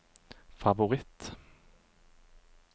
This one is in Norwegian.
favoritt